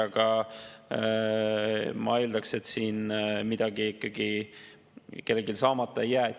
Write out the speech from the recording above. Aga ma eeldan, et siin midagi ikkagi kellelgi saamata ei jää.